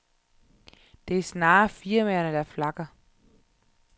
Det er snarere firmaerne, der flakker.